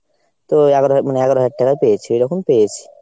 তো এগারো হা~ মানে এগারো হাজার টাকায় পেয়েছি ওইরকম পেয়েছি।